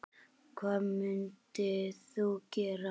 Hvað mundir þú gera?